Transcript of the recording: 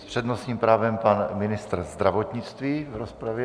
S přednostním právem pan ministr zdravotnictví v rozpravě.